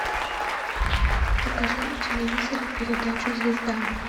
покажи на телевизоре передачу звезда